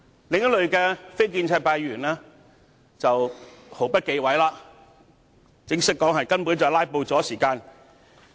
另一類非建制派議員的發言，則毫不忌諱地承認是在"拉布"消耗時間。